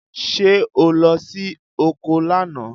Ṣé o lọ sí oko lánàá?